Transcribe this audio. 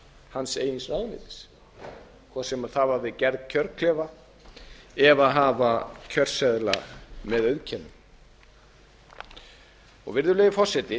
hans eigin ráðuneytis hvort sem það var við gerð kjörklefa eða að hafa kjörseðla með auðkennum virðulegi forseti